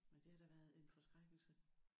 Men det har da været en forskrækkelse?